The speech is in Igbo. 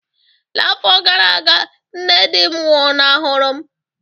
N'afọ gara aga, nne di m nwụnahụrụ m